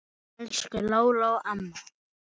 Elsku Lóló amma.